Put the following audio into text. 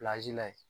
la yen